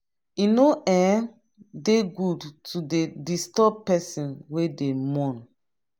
e no um dey good to dey disturb pesin wey dey mourn.